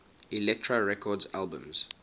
elektra records albums